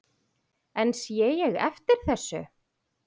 En sé ég eftir þessu?